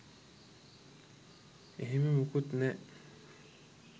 එහෙම මොකුත් නෑ.